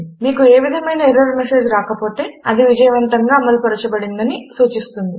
మీకు ఏ విధమైన ఎర్రర్ మెసేజ్ రాకపోతే అది విజయవంతంగా అమలుపరచబడిందని సూచిస్తుంది